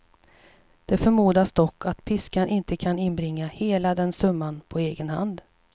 Det förmodas dock att piskan inte kan inbringa hela den summan på egen hand.